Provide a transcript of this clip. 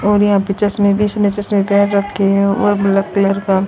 और यहां पे चश्मे बेचने से और ब्लैक कलर का--